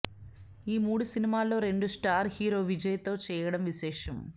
ఈ మూడు సినిమాల్లో రెండు స్టార్ హీరో విజయ్ తో చేయడం విశేషం